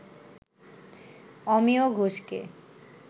অমিয় ঘোষকে